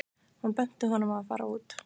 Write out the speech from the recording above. Hún benti honum á að fara út.